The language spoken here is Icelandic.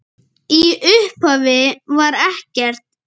Í upphafi var ekkert.